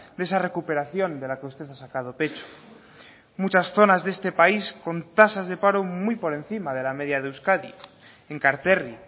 de esa recuperación de la que usted ha sacado pecho muchas zonas de este país con tasas de paro muy por encima de la media de euskadi enkarterri